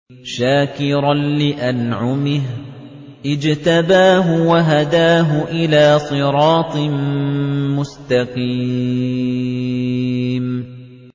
شَاكِرًا لِّأَنْعُمِهِ ۚ اجْتَبَاهُ وَهَدَاهُ إِلَىٰ صِرَاطٍ مُّسْتَقِيمٍ